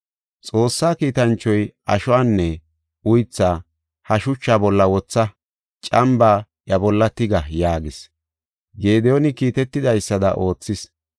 Xoossaa kiitanchoy, “Ashuwanne uythaa ha shuchaa bolla wotha; cambaa iya bolla tiga” yaagis. Gediyooni kiitetidaysada oothis.